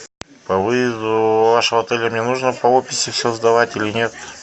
по выезду вашего отеля мне нужно по описи все сдавать или нет